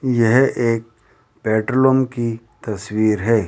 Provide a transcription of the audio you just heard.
यह एक की तस्वीर है।